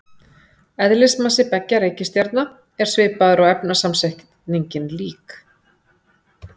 Eðlismassi beggja reikistjarna er svipaður og efnasamsetningin lík.